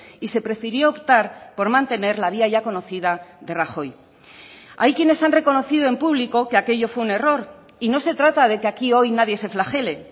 y se prefirió optar por mantener la vía ya conocida de rajoy hay quienes han reconocido en público que aquello fue un error y no se trata de que aquí hoy nadie se flagele